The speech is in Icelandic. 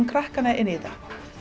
krakkana í þetta